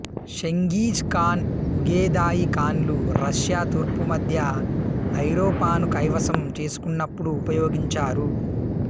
Genghis Khan Ogedei ఖాన్లు Russia తూర్పు మధ్య ఐరోపాను కైవసం చేసుకొన్నప్పుడు ఉపయోగించారు